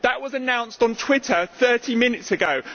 It was announced on Twitter 30 minutes ago.